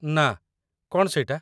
ନା, କ'ଣ ସେଇଟା?